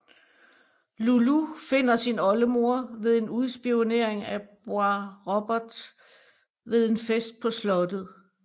Loulou finder sin oldemor ved en udspionering af Boisrobert ved en fest på slottet